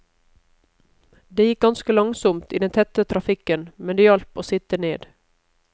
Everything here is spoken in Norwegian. Det gikk ganske langsomt i den tette trafikken, men det hjalp å sitte ned.